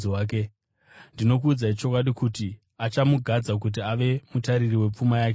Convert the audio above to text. Ndinokuudzai chokwadi kuti achamugadza kuti ave mutariri wepfuma yake yose.